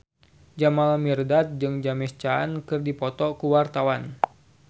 Jamal Mirdad jeung James Caan keur dipoto ku wartawan